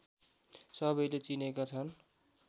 सबैले चिनेका छन्